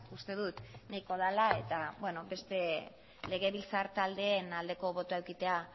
uste dut nahiko dela eta beste legebiltzar taldeen aldeko botoa edukitzea